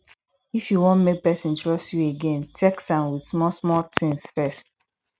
if you want make person trust you again test am with small small things first